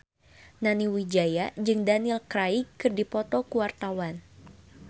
Nani Wijaya jeung Daniel Craig keur dipoto ku wartawan